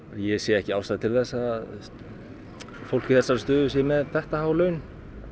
ég sé ekki ástæðu til þess að fólk í þessari stöðu sé með þetta há laun